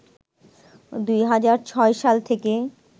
২০০৬ সাল থেকে